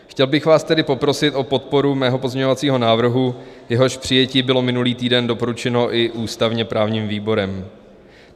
Chtěl bych vás tedy poprosit o podporu svého pozměňovacího návrhu, jehož přijetí bylo minulý týden doporučeno i ústavně-právním výborem.